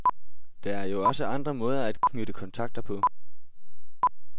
Der er jo også andre måder at knytte kontakter på.